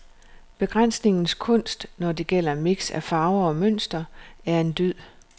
Begrænsningens kunst, når det gælder mix af farver og mønstre, er en dyd.